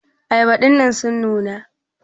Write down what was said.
ayaba dinnan sun nuna?